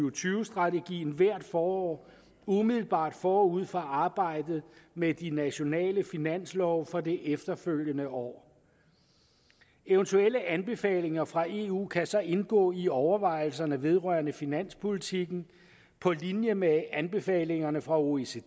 og tyve strategien hvert forår umiddelbart forud for arbejdet med de nationale finanslove for det efterfølgende år eventuelle anbefalinger fra eu kan så indgå i overvejelserne vedrørende finanspolitikken på linje med anbefalingerne fra oecd